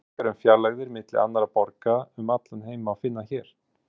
Upplýsingar um fjarlægðir milli annarra borga um allan heim má finna hér.